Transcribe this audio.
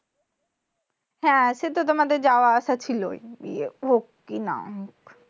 হ্যাঁ, সে তো তোমাদের যাওয়া-আসা ছিলই বিয়ে হোক কি না হোক।